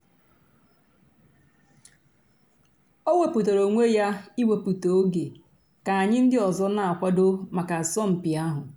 ọ̀ wépụ̀tárà ònwè yà íwèpụ̀tà ògè kà ànyị̀ ńdí òzò nà-àkwàdò mǎká àsọ̀mpị̀ àhụ̀.